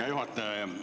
Hea juhataja!